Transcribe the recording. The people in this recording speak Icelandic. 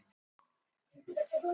Fjallað um gæsluvarðhaldskröfu